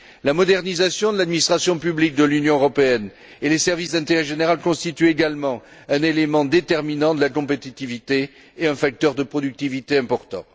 La modernisation de l'administration publique de l'Union européenne et des services d'intérêt général constitue également un élément déterminant de la compétitivité et un facteur de productivité important.